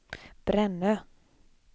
Brännö